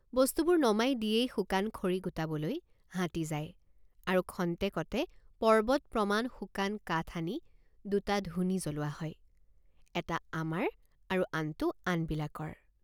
বস্তুবোৰ নমাই দিয়েই শুকান খৰি গোটাবলৈ হাতী যায় আৰু খন্তেকতে পৰ্বত প্ৰমাণ শুকান কাঠ আনি দুট৷ ধুনি জ্বলোৱা হয় এটা আমাৰ আৰু আনটো আনবিলাকৰ।